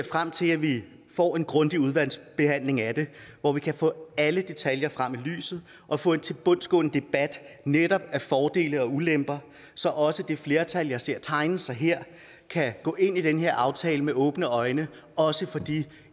frem til at vi får en grundig udvalgsbehandling af det hvor vi kan få alle detaljer frem i lyset og få en tilbundsgående debat af netop fordele og ulemper så også det flertal jeg ser tegne sig her kan gå ind i den her aftale med åbne øjne også for de